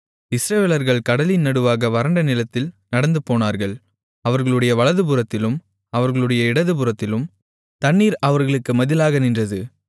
இஸ்ரவேலர்கள் கடலின் நடுவாக வறண்ட நிலத்தில் நடந்துபோனார்கள் அவர்களுடைய வலதுபுறத்திலும் அவர்களுடைய இடதுபுறத்திலும் தண்ணீர் அவர்களுக்கு மதிலாக நின்றது